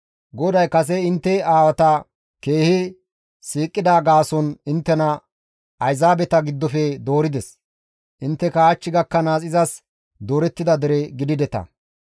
GODAY kase intte aawata keehi siiqida gaason inttena ayzaabeta giddofe doorides; intteka hach gakkanaas izas doorettida dere gidideta.